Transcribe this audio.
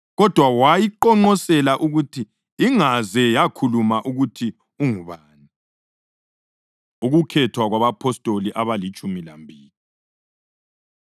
Kodwa wayiqonqosela ukuthi ingaze yakhuluma ukuthi ungubani. Ukukhethwa Kwabapostoli Abalitshumi Lambili